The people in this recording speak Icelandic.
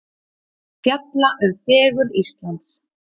Fjalla um fegurð Íslands